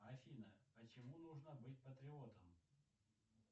афина почему нужно быть патриотом